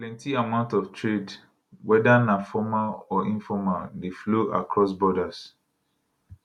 plenti amount of trade weda na formal or informal dey flow across borders